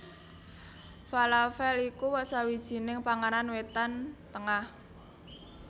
Falafèl iku sawijining panganan Wétan Tengah